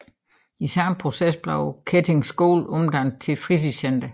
I samme proces blev Kettige Skole omdannet til fritidscenter